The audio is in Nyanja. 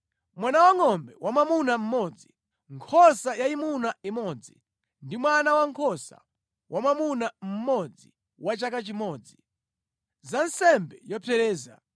mwana wangʼombe wamwamuna mmodzi, nkhosa yayimuna imodzi ndi mwana wankhosa wamwamuna mmodzi wa chaka chimodzi, za nsembe yopsereza;